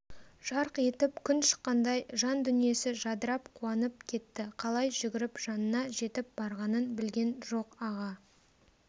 жарқ етіп күн шыққандай жандүниесі жадырап қуанып кетті қалай жүгіріп жанына жетіп барғанын білген жоқ аға